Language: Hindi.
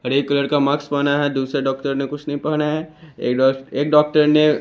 हरे कलर का मार्क्स पहना है दुसरे डॉक्टर ने कुछ नहीं पहना है एक डॉक एक डॉक्टर ने --